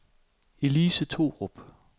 Elise Thorup